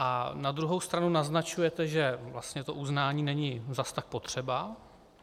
A na druhou stranu naznačujete, že vlastně to uznání není zas tak potřeba.